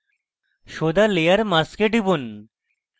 show the layer mask এ টিপুন